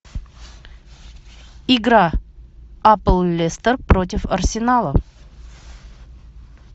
игра апл лестер против арсенала